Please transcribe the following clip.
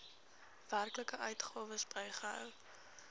werklike uitgawes bygehou